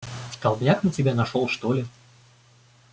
столбняк на тебя нашёл что ли